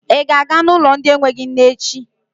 Ị ga-aga n'ụlọ ndị enweghị nne echi?